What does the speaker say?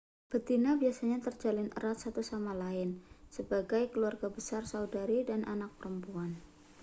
betina biasanya terjalin erat satu sama lain sebagai keluarga besar saudari dan anak perempuan